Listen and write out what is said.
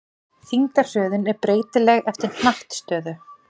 Þyngdarhröðun er breytileg eftir hnattstöðu.